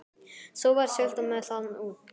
Svo var siglt með þá út.